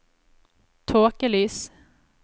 tåkelys